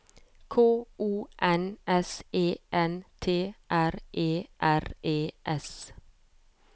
K O N S E N T R E R E S